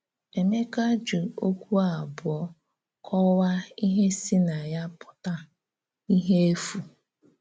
Èmékà jì òkwú ábụ̀ọ̀ kọ́waa íhè sì na yá pụ̀tà: íhè èfú.